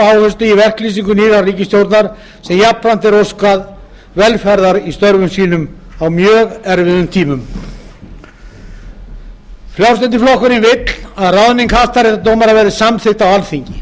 áherslu í verklýsingu nýrrar ríkisstjórnar sem jafnframt er óskað velferðar í störfum sínum á mjög erfiðum tímum frjálslyndi flokkurinn vill að ráðning hæstaréttardómara verði samþykkt á alþingi